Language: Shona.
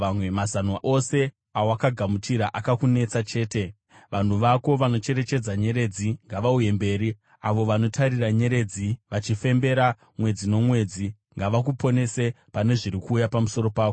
Mazano ose awakagamuchira, akakunetesa chete! Vanhu vako vanocherechedza nyeredzi ngavauye mberi, avo vanotarira nyeredzi vachifembera mwedzi nomwedzi, ngavakuponese pane zviri kuuya pamusoro pako.